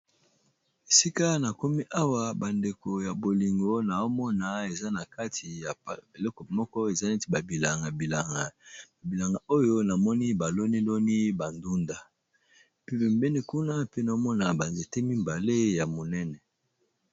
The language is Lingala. Esika na komi awa bandeko ya bolingo naomona eza na kati ya eleko moko eza neti babilangabilanga babilanga oyo namoni baloniloni bandunda pe bembeni kuna pe naomona banzete mibale ya monene.